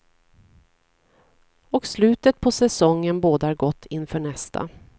Och slutet på säsongen bådar gott inför nästa.